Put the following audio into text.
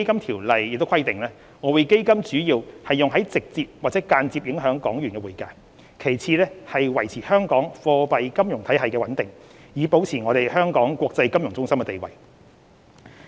《條例》亦規定，外匯基金主要用於直接或間接影響港元的匯價，其次是維持香港貨幣金融體系的穩定，以保持香港國際金融中心的地位。